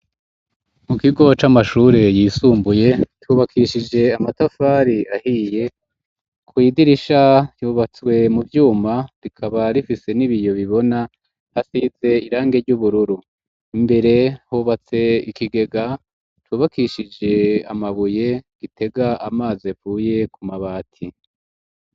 Mu kigo c'amashure yisumbuye cubakishije amatafari ahiye ku idirisha yubatswe mu vyuma rikaba rifise n'ibiyo bibona hasize irange ry'ubururu, imbere hubatse ikigega tubakishije amabuye gitega amazi avuye ku mabati.